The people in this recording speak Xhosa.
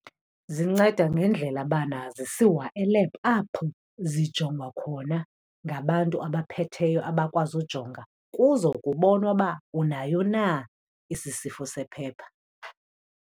Zinceda ngendlela bana zisiwa e-lab apho zijongwa khona ngabantu abaphetheyo abakwazi ujonga. Kuzokubonwa uba unayo na esi sifo sephepha.